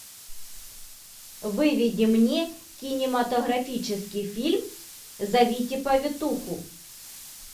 выведи мне кинематографический фильм зовите повитуху